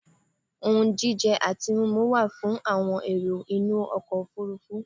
Ohun jíjẹ àti mímu wa fún àwon èrò inú ọkọ̀ òfurufú